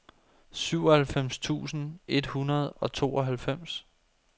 syvoghalvfems tusind et hundrede og tooghalvfems